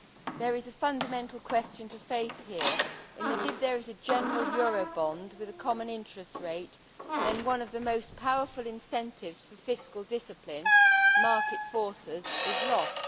There is a fundamental question to face here, that if there is a general Eurobond with a common interest rate, then one of the most powerful incentives for fiscal discipline market forces is lost.